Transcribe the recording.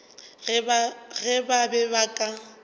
ge ba be ba ka